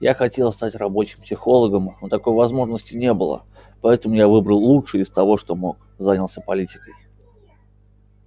я хотел стать рабочим психологом но такой возможности не было поэтому я выбрал лучшее из того что мог занялся политикой